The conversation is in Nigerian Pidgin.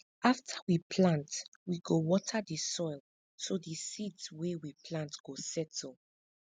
after we plant we go water the soil so di seeds wey we plant go settle